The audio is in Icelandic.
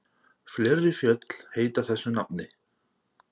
Fleiri fjöll heita þessu nafni.